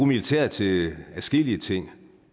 militæret til adskillige ting